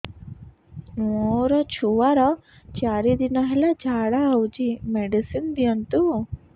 ମୋର ଛୁଆର ଚାରି ଦିନ ହେଲା ଝାଡା ହଉଚି ମେଡିସିନ ଦିଅନ୍ତୁ